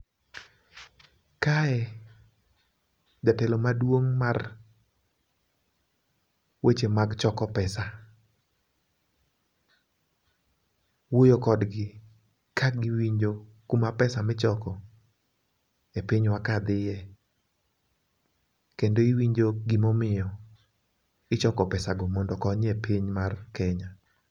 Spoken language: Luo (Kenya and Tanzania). kae, jatelo maduong' mar weche mag choko pesa wuoyo kodgi ka giwinjo kuma pesa michoko e pinywa ka dhiye, kendo iwinjo gimomiyo ichoko pesago mondo okonyie piny mar Kenya.